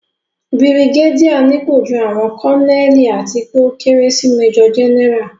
Bìrìgédíà nípò ju àwọn Kọ́nẹ́ẹ̀lì àti pé ó kéré sí mẹ́jọ̀ Jẹ́nẹ́rà